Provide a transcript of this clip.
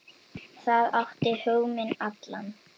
Það átti hug minn allan.